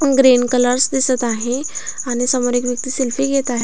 Green colours दिसत आहे आणि समोर एक व्यक्ती सेल्फी घेत आहे.